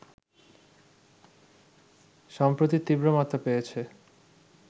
সম্প্রতি তীব্র মাত্রা পেয়েছে